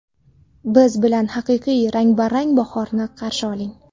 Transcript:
Biz bilan haqiqiy, rang-barang bahorni qarshi oling.